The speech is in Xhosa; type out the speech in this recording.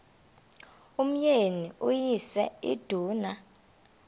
umyeni uyise iduna